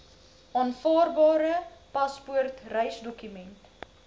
aanvaarbare paspoort reisdokument